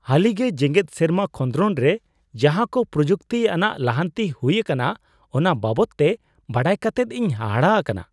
ᱦᱟᱹᱞᱤᱜᱮ ᱡᱮᱜᱮᱫ ᱥᱮᱨᱢᱟ ᱠᱷᱚᱸᱫᱨᱚᱱ ᱨᱮ ᱡᱟᱦᱟ ᱠᱚ ᱯᱨᱚᱡᱩᱠᱛᱤ ᱟᱱᱟᱜ ᱞᱟᱦᱟᱱᱛᱤ ᱦᱩᱭ ᱟᱠᱟᱱᱟ ᱚᱱᱟ ᱵᱟᱵᱚᱫ ᱛᱮ ᱵᱟᱰᱟᱭ ᱠᱟᱛᱮᱫ ᱤᱧ ᱦᱟᱦᱟᱲᱟ ᱟᱠᱟᱱᱟ ᱾